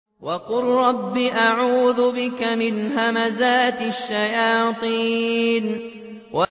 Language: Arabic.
وَقُل رَّبِّ أَعُوذُ بِكَ مِنْ هَمَزَاتِ الشَّيَاطِينِ